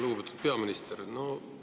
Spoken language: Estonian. Lugupeetud peaminister!